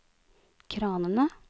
kranene